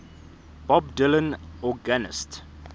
bob dylan organist